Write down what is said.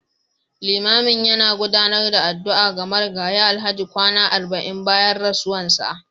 Limamin yana gudanar da addu'a ga Marigayi Alhaji kwana arba'in bayan rasuwarsa